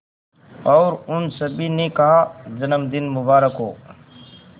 और उन सभी ने कहा जन्मदिन मुबारक हो